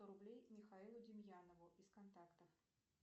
сто рублей михаилу демьянову из контакта